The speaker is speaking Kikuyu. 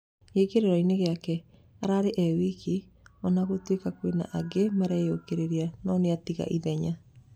Gĩkĩroinĩ gĩake, ararĩ e wika, ona gũtuĩka kwĩna aingĩ mareyũkĩrĩria, no nĩatiga ithenya. "